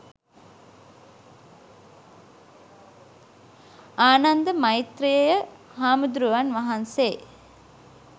ආනන්ද මෛත්‍රෙය හාමුදුරුවන් වහන්සේ